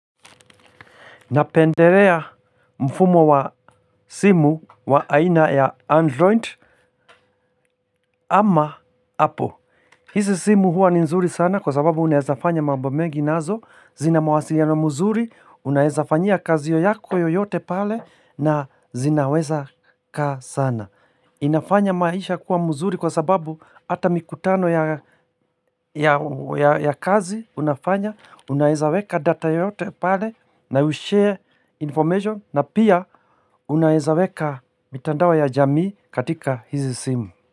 Napendelea mfumo wa simu wa aina ya Android ama Apple. Hizi simu huwa ni nzuri sana kwa sababu unaezafanya mambo mengi nazo, zina mawasilino mzuri, unaezafanyia kazi yako yoyote pale na zinaweza kaa sana. Inafanya maisha kuwa mzuri kwa sababu Hata mikutano ya kazi Unafanya, unaeza weka data yoyote pale na ushare information na pia unaeza weka mitandao ya jamii katika hizi simu.